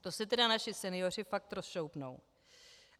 To se tedy naši senioři fakt rozšoupnou!